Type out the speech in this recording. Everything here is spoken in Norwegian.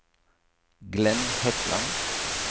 Glenn Hetland